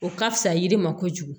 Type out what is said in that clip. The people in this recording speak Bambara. O ka fisa yiri ma kojugu